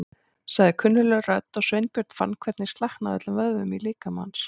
sagði kunnugleg rödd og Sveinbjörn fann hvernig slaknaði á öllum vöðvum í líkama hans.